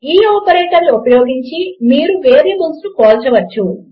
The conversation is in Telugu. ఈ ఆపరేటర్లను ఉపయోగించి మీరు వేరియబుల్స్ను పోల్చవచ్చు